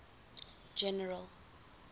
general